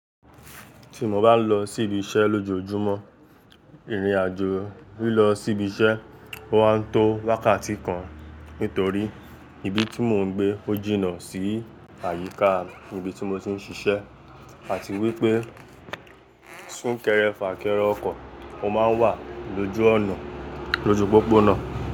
Tí mo bá ń lọ sí ibi iṣẹ́ lójoojúmọ́, ìrìnàjò lílọ sí ibi iṣẹ́ ó wá ń tó wákàtí kan nítorí ibi tí mò ń gbé ó jìnnà sí àyíká ibi tí mo ti ń ṣiṣẹ́ àti wípé súnkẹrẹ fà kẹrẹ ọkọ̀ ó máa ń wà lójú ọ̀nà lóju pópónà.